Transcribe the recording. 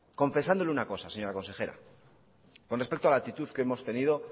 confesándole una cosa señora consejera con respecto a la actitud que hemos tenido